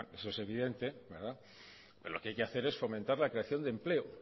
eso es evidente verdad pero lo que hay que hacer es fomentar la creación de empleo